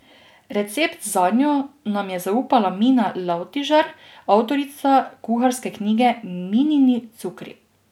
Recept zanjo nam je zaupala Mina Lavtižar, avtorica kuharske knjige Minini cukri.